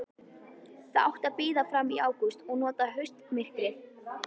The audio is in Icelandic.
Það átti að bíða fram í ágúst og nota haustmyrkrið.